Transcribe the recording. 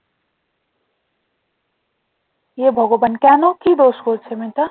হে ভগবান কেন কি দোষ করেছে মেয়েটা?